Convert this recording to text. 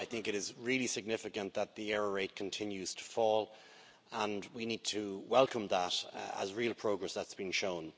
I think it is really significant that the error rate continues to fall and we need to welcome that as real progress that has been shown.